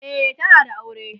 e tana da aure